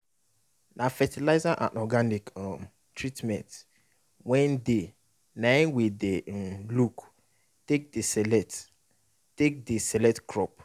na fertilizer and organic um treatment wey dey naim we dey um look take dey select take dey select crop